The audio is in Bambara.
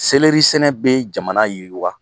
Selɛri sɛnɛ bɛ jamana yiriwa!